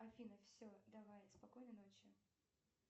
афина все давай спокойной ночи